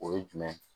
O ye jumɛn ye